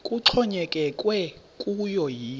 kuxhonyekekwe kuyo yinto